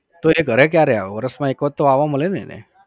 તો એ ઘરે ક્યારે આવે વરસમાં એક વાર તો આવવા મલે ને એને?